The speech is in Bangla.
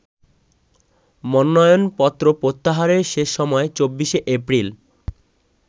মনোনয়নপত্র প্রত্যাহারের শেষ সময় ২৪শে এপ্রিল।